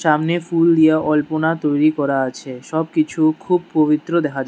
সামনে ফুল দিয়ে অল্পনা তৈরি করা আছে সবকিছু খুব পবিত্র দেখা যায়।